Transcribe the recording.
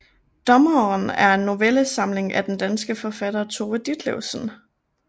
Dommeren er en novellesamling af den danske forfatter Tove Ditlevsen